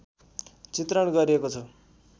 चित्रण गरिएको छ